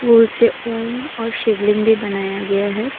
फूल से ओम और शिवलिंग भी बनाया गया है।